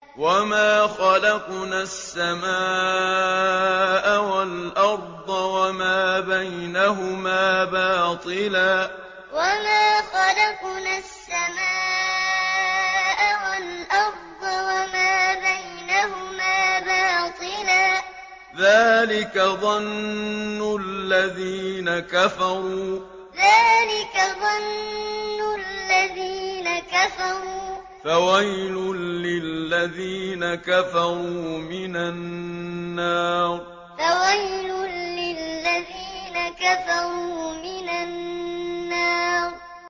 وَمَا خَلَقْنَا السَّمَاءَ وَالْأَرْضَ وَمَا بَيْنَهُمَا بَاطِلًا ۚ ذَٰلِكَ ظَنُّ الَّذِينَ كَفَرُوا ۚ فَوَيْلٌ لِّلَّذِينَ كَفَرُوا مِنَ النَّارِ وَمَا خَلَقْنَا السَّمَاءَ وَالْأَرْضَ وَمَا بَيْنَهُمَا بَاطِلًا ۚ ذَٰلِكَ ظَنُّ الَّذِينَ كَفَرُوا ۚ فَوَيْلٌ لِّلَّذِينَ كَفَرُوا مِنَ النَّارِ